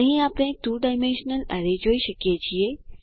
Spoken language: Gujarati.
અહીં આપણે 2 ડાયમેન્શનલ એરે જોઈ શકીએ છીએ